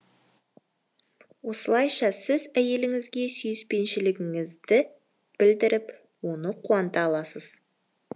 осылайша сіз әйеліңізге сүйіспеншілігіңізді білдіріп оны қуанта аласыз